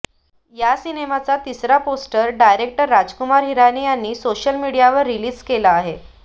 या सिनेमाचा तिसरा पोस्टर डायरेक्टर राजकुमार हिरानी यांनी सोशल मीडियावर रिलीज केला आहे